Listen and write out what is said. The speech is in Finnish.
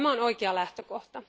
Tämä on oikea lähtökohta.